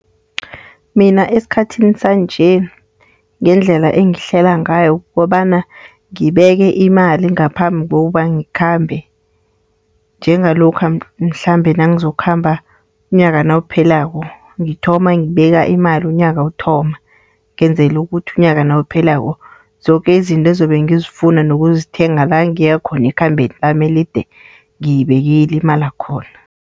Mina esikhathini sanje ngendlela engihlela ngayo kukobana ngibeke imali ngaphambi kokubana ngikhambe. Njengalokha mhlambe nangizokukhamba umnyaka nawuphelako ngithoma ngibeka imali unyaka uthoma. Ngenzela ukuthi unyaka nawuphelako zoke izinto ezobe ngizifuna, nokuzithenga la ngiyakhona ekhambeni lama elide, ngiyibekile imali yakhona.